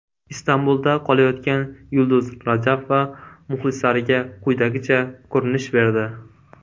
Istanbulda qolayotgan Yulduz Rajabova muxlislariga quyidagicha ko‘rinish berdi.